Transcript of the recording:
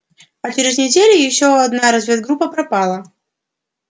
а через неделю ещё одна разведгруппа пропала